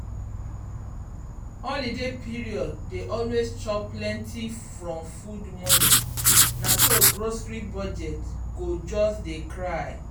holiday period dey always chop plenty from food money na so grocery budget go just dey cry.